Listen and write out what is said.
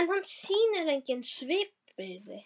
en hann sýnir engin svipbrigði.